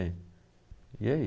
É, e aí?